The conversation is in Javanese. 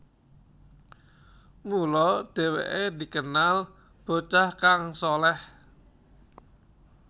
Mula dheweke dikenal bocah kang shaleh